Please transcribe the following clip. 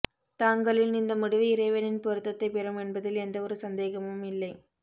தாங்களின் இந்த முடிவு இறைவனின் பொருத்தத்தை பெரும் என்பதில் எந்த ஒரு சந்தேகமும் இல்லை